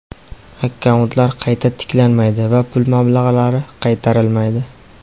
Akkauntlar qayta tiklanmaydi va pul mablag‘lari qaytarilmaydi.